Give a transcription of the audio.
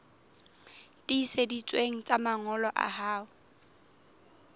tiiseditsweng tsa mangolo a hao